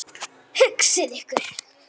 Hugsið ykkur!